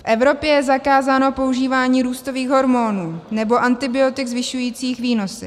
V Evropě je zakázáno používání růstových hormonů nebo antibiotik zvyšujících výnosy.